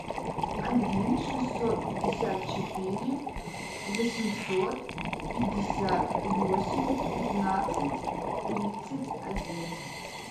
один шестьсот пятьдесят четыре восемьсот пятьдесят восемь пятнадцать тридцать один